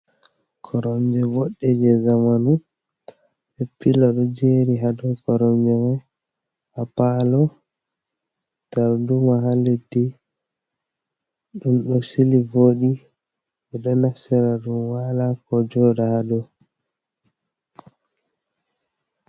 Korom je bodde je zamanu be pilo dojeri hado koromjeman ha palo, darduma ha leddi dum do sili vodi bo do naftira dum wala ko joda hado.